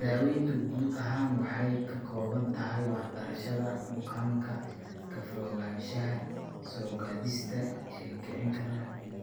Daaweyntu guud ahaan waxay ka kooban tahay waxbarashada bukaanka, ka fogaanshaha soo-gaadhista ee kicin kara